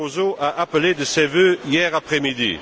Barroso a appelée de ses vœux hier après midi.